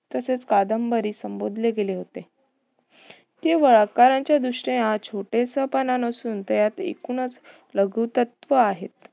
तसेच कादंबरी संबोधले गेले होते. तेव्हा आकाराचा दृष्टीने हा छोटेसपणा नसून त्यात एकूणच लघुतत्व आहे.